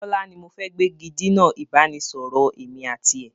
Bọlá ni mo fẹ́ gbégidinà ìbánisọọ̀rọ̀ èmi àti ẹ̀